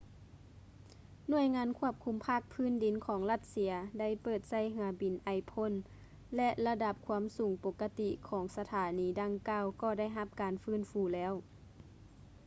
ໜ່ວຍງານຄວບຄຸມພາກພື້ນດິນຂອງລັດເຊຍ ໄດ້ເປີດໃຊ້ເຮືອບິນໄອພົ່ນ ແລະ ລະດັບຄວາມສູງປົກກະຕິຂອງສະຖານີດັ່ງກ່າວກໍໄດ້ຮັບການຟື້ນຟູແລ້ວ